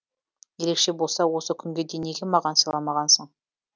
ерекше болса осы күнге дейін неге маған сыйламағансың